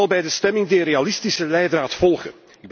Ik zal bij de stemming de realistische leidraad volgen.